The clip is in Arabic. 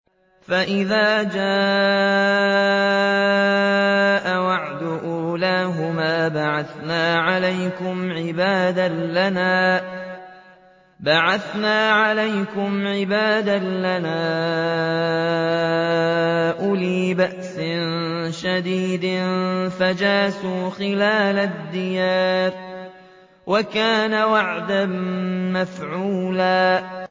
فَإِذَا جَاءَ وَعْدُ أُولَاهُمَا بَعَثْنَا عَلَيْكُمْ عِبَادًا لَّنَا أُولِي بَأْسٍ شَدِيدٍ فَجَاسُوا خِلَالَ الدِّيَارِ ۚ وَكَانَ وَعْدًا مَّفْعُولًا